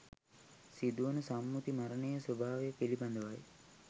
සිදුවන සම්මුති මරණයේ ස්වභාවය පිළිබඳවයි